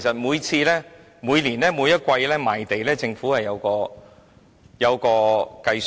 每年或每季賣地時，政府都有作出計算。